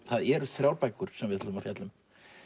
það eru þrjár bækur sem við ætlum að fjalla um